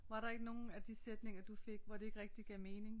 Var der ikke nogen af de sætninger du fik hvor det ikke rigtig gav mening?